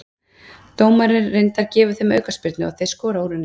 Dómarinn reyndar gefur þeim aukaspyrnu og þeir skora úr henni.